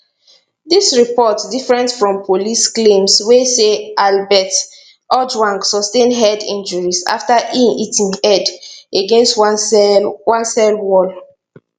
dis report different from police claims wey say albert ojwang sustain head injuries afta e hit im head against one cell one cell wall